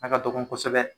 A ka dɔgɔ kosɛbɛ